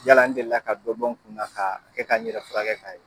Yala n deli la ka bɔn n kun na ka kɛ ka n yɛrɛ fura kɛ ka ye.